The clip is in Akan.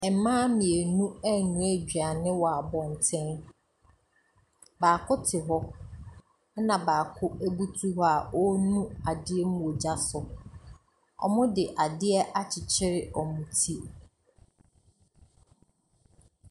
Mmaa mmienu renoa aduane wɔ abɔten. Baako te hɔ, ɛna bako butu hɔ a ɔrenu adeɛ mu wɔ gya so. Wɔde adeɛ akyekyere wɔn ti.